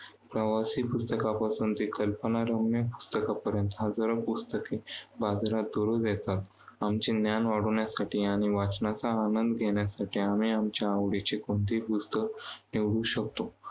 प्रवासी पुस्तकांपासून ते कल्पनारम्य पुस्तकांपर्यंत हजारो पुस्तके बाजारात रोज येतात. आमचे ज्ञान वाढवण्यासाठी आणि वाचनाचा आनंद घेण्यासाठी आम्ही आमच्या आवडीचे कोणतेही पुस्तक निवडू शकतो.